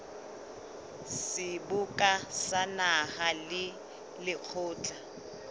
seboka sa naha le lekgotla